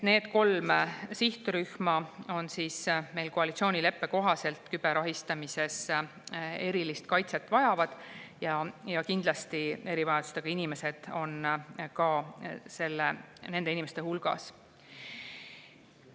Need kolm sihtrühma vajavad meie koalitsioonileppe kohaselt küberahistamise eest erilist kaitset ja kindlasti on erivajadustega inimesed ka nende inimeste hulgas.